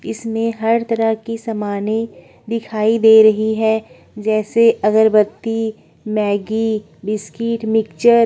इसमें हर तरह के समाने दिखाई दे रही हैं जैसे अगरबत्ती मैंगी बिस्किट मिक्स्चर --